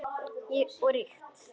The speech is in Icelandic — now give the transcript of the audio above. Og ríkt.